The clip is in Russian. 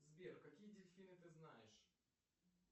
сбер какие дельфины ты знаешь